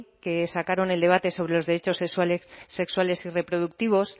que sacaron el debate sobre los derechos sexuales y reproductivos